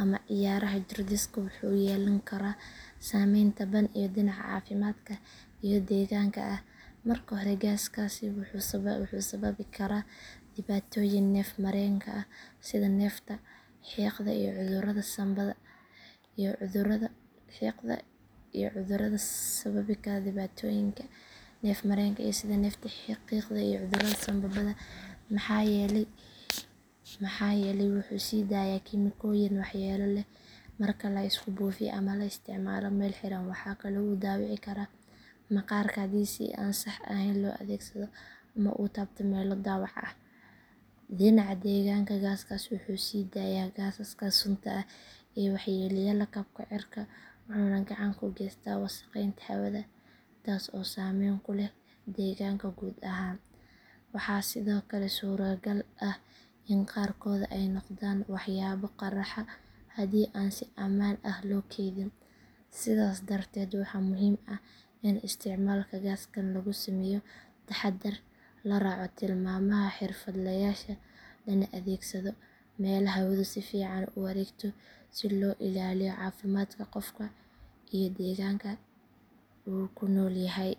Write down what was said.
ama cayaaraha jir dhiska wuxuu yeelan karaa saameyn taban oo dhinaca caafimaadka iyo deegaanka ah. Marka hore gaaskaasi wuxuu sababi karaa dhibaatooyin neef mareenka ah sida neefta, xiiqda iyo cudurrada sanbabada maxaa yeelay wuxuu sii daayaa kiimikooyin waxyeelo leh marka la isku buufiyo ama la isticmaalo meel xiran. Waxaa kale oo uu dhaawici karaa maqaarka haddii si aan sax ahayn loo adeegsado ama uu taabto meelo dhaawac ah. Dhinaca deegaanka gaaskaasi wuxuu sii daayaa gaasaska sunta ah ee waxyeelleeya lakabka cirka wuxuuna gacan ka geystaa wasakheynta hawada taas oo saameyn ku leh deegaanka guud ahaan. Waxaa sidoo kale suuragal ah in qaarkood ay noqdaan waxyaabo qarxa haddii aan si ammaan ah loo keydin. Sidaas darteed waxaa muhiim ah in isticmaalka gaasaskan lagu sameeyo taxaddar, la raaco tilmaamaha xirfadlayaasha lana adeegsado meelo hawadu si fiican u wareegto si loo ilaaliyo caafimaadka qofka iyo deegaanka uu ku nool yahay.